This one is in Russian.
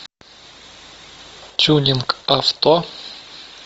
тюнинг авто